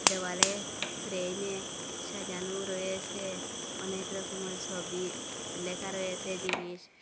দেওয়ালে ফ্রেমে সাজানো রয়েসে অনেক রকমের সবি লেখা রয়েসে জিনিস।